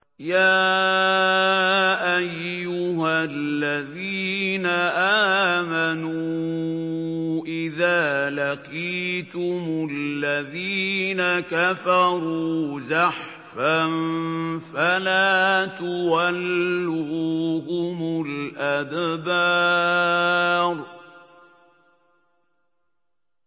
يَا أَيُّهَا الَّذِينَ آمَنُوا إِذَا لَقِيتُمُ الَّذِينَ كَفَرُوا زَحْفًا فَلَا تُوَلُّوهُمُ الْأَدْبَارَ